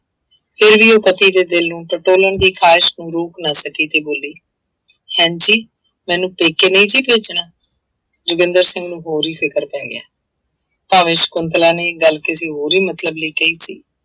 ਉਹ ਪਤੀ ਦੇ ਦਿਲ ਨੂੰ ਟਟੋਲਣ ਦੀ ਖ਼ਾਹਸ ਨੂੰ ਰੋਕ ਨਾ ਸਕੀ ਤੇ ਬੋਲੀ ਹੈਂਜੀ ਮੈਨੂੰ ਪੇਕੇ ਨਹੀਂ ਜੀ ਭੇਜਣਾ, ਜੋਗਿੰਦਰ ਸਿੰਘ ਨੂੰ ਹੋਰ ਹੀ ਫ਼ਿਕਰ ਪੈ ਗਿਆ ਭਾਵੇਂ ਸਕੁੰਤਲਾ ਨੇ ਇਹ ਗੱਲ ਕਿਸੇ ਹੋਰ ਹੀ ਮਤਲਬ ਲਈ ਕਹੀ ਸੀ।